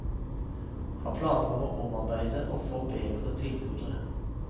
Har planer om å omarbeide og forbedre tilbudet.